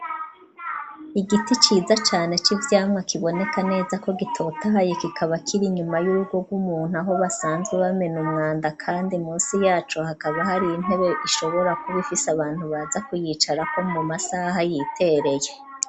Igiti ciza cane c'ivyamwa kiboneka neza ko gitotahaye kikaba kira inyuma y'urugo rw'umuntu aho basanzwe bamena umwanda, kandi musi yacu hakaba hari intebe ishobora kubaifise abantu baza kuyicarako mu masaha yitereye.